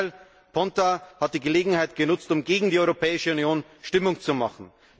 Im Gegenteil, Ponta hat die Gelegenheit genutzt, um gegen die Europäische Union Stimmung zu machen.